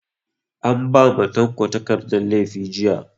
An ba ma tanko takardan laifi jiya